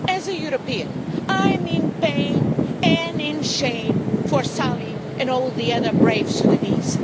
As a European, I am in pain and in shame for Salih and all the other brave Sudanese.